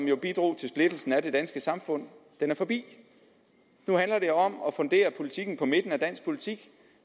jo bidrog til splittelsen af det danske samfund er forbi nu handler det om at fundere politikken på midten af dansk politik